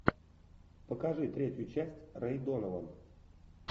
покажи третью часть рэй донован